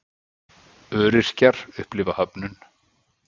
Öryrkjar upplifa höfnun